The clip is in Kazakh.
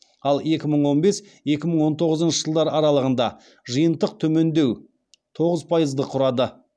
ал екі мың он бес екі мың он тоғызыншы жылдар аралығында жиынтық төмендеу тоғыз пайыз құрады